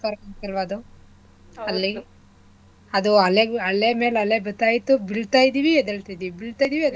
Correct ಸಕ್ಕತ್ ಅಲ್ವಾ ಅದು ಅಲ್ಲಿ ಅದು ಅಲೆ ಮೇಲ್ ಅಲೆ ಬರ್ತಾ ಇತ್ತು ಬೀಳ್ತಾ ಇದೀವಿ ಎದ್ದೆಳ್ತಿದಿವಿ ಬೀಳ್ತಾ ಇದೀವಿ ಎದ್ದೆಳ್ತಿದಿವಿ.